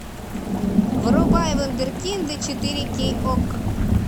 врубай вундеркинды четыре кей окко